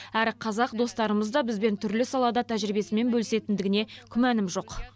әрі қазақ достарымыз да бізбен түрлі салада тәжірибесімен бөлісетіндігіне күмәнім жоқ